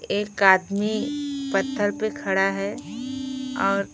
एक आदमी पत्थर पर खड़ा है और--